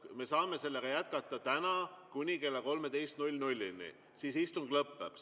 Me saame sellega jätkata täna kuni kella 13-ni, siis istung lõpeb.